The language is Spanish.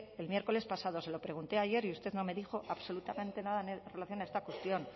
el miércoles pasado se lo pregunté ayer y usted no me dijo absolutamente nada en relación a esta cuestión